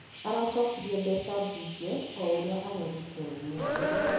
Aracokirie mbeca mbunge o,ũrĩa arerĩtwo nĩ mwaria